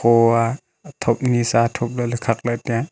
ooaa athom nisa athom lakley khakley taiga.